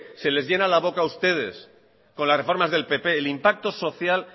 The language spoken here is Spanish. se les llena la boca a ustedes con las reformas del pp el impacto social